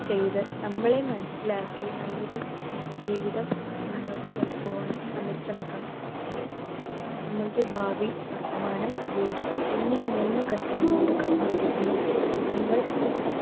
ചെയ്ത് നമ്മളെ മനസിലാക്കി നല്ലൊരു ജീവിതം മുന്നോട്ടു കൊണ്ടുപോവാനും നമ്മൾ ശ്രമിക്കണം നമ്മളുടെ ഭാവി, വർത്തമാനം, ഭൂതം എന്നീ മൂന്നു ഘട്ടങ്ങളിലൂടെ കടന്നു പോകുമ്പോഴും നമ്മൾ